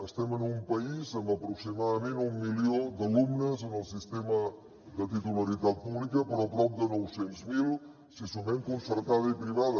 estem en un país amb aproximadament un milió d’alumnes en el sistema de titularitat pública però prop de nou cents mil si sumem concertada i privada